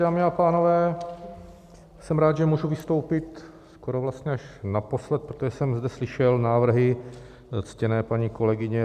Dámy a pánové, jsem rád, že můžu vystoupit skoro vlastně až naposled, protože jsem zde slyšel návrhy ctěné paní kolegyně